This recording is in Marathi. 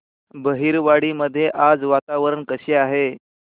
बहिरवाडी मध्ये आज वातावरण कसे आहे